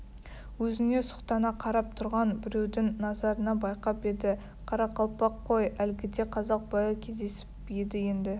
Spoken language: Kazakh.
өзіне сұқтана қарап тұрған біреудің назарын байқап еді қарақалпақ қой әлгіде қазақ байы кездесіп еді енді